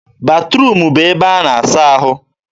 batruum bụ ebe a na-asa ahụ.